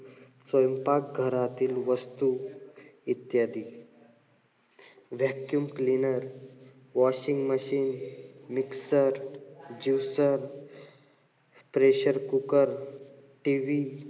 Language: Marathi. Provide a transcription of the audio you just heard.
स्वयंपाक घरातील वस्तू, इत्यादी. vacuum cleaner, washing machine, mixer, juicer pressrecooker TV,